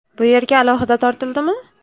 Bu yerga alohida tortildimi?